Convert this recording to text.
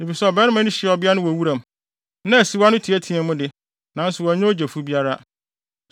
efisɛ ɔbarima no hyiaa ɔbea no wɔ wuram, na asiwa no teɛteɛɛ mu de, nanso wannya ogyefo biara.